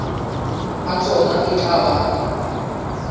a tsona e tla ba